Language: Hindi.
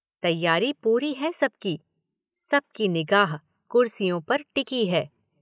तैयारी पूरी है सबकी। सबकी निगाह कुर्सियों पर टिकी है।